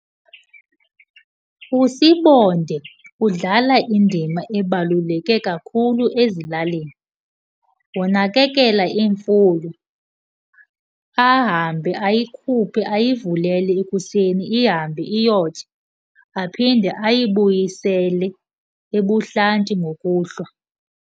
USibonda udlala indima ebaluleke kakhulu ezilalini. Unakekela imfuyo, ahambe ayikhuphe ayivulele ekuseni ihambe iyotya, aphinde ayibuyisele ebuhlanti ngokuhlwa.